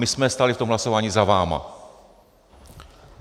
My jsme stáli v tom hlasování za vámi.